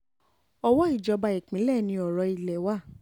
owó ìjọba ìpínlẹ̀ ni ọ̀rọ̀ ilé wa